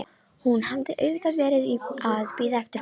Hún hafði auðvitað verið að bíða eftir honum.